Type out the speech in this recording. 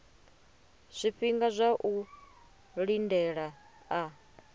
zwifhinga zwa u lindela a